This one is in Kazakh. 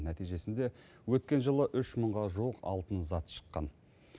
нәтижесінде өткен жылы үш мыңға жуық алтын зат шыққан